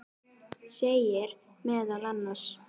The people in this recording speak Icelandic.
segir meðal annars